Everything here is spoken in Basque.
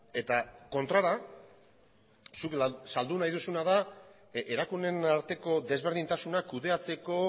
eta kontrara zuk saldu nahi duzuna da erakundeen arteko desberdintasunak kudeatzeko